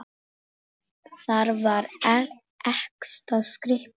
Þar var ekta skrípó.